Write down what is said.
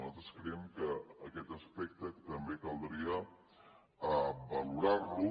nosaltres creiem que aquest aspecte també caldria valorar lo